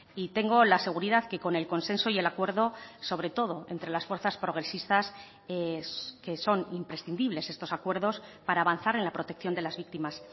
y tengo la seguridad que con el consenso y el acuerdo sobre todo entre las fuerzas progresistas es que son imprescindibles estos acuerdos para avanzar en la protección de las víctimas